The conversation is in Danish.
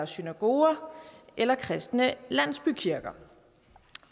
synagoger eller kristne landsbykirker